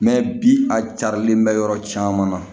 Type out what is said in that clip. bi a carilen bɛ yɔrɔ caman na